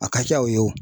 A ka ca o ye o